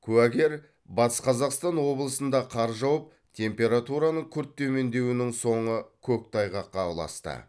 куәгер батыс қазақстан облысында қар жауып температураның күрт төмендеуінің соңы көктайғаққа ұласты